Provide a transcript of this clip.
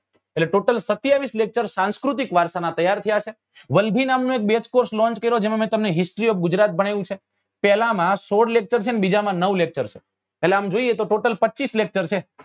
એટલે total સતીયાવીસ lecture સંસ્કૃતિ વારસા ના તૈયાર થયા હશે વલભી નામ નો એક base course launch કર્યો જેમાં મેં તમને history ગુજરાત ભણાવ્યું છે પેલા માં સોળ lecture છે ને બીજા માં નવ lecture છે એટલે આમ જોઈએ તો total પચીસ lecture છે